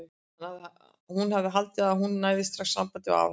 Hún hafði haldið að hún næði strax sambandi við afa sinn.